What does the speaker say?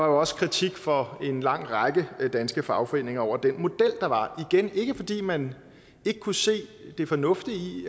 også kritik fra en lang række danske fagforeninger af den model der var igen ikke fordi man ikke kunne se det fornuftige i